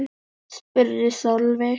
spurði Sölvi.